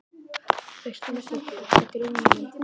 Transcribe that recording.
Veist þú nokkuð hvað þetta er Grjóni minn.